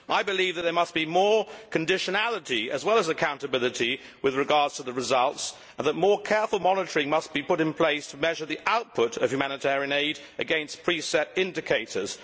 I believe that there must be more conditionality, as well as accountability, with regard to the results, and that more careful monitoring must be put in place to measure the output of humanitarian aid against pre set indicators.